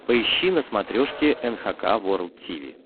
поищи на смотрешке эн эйч кей волд ти ви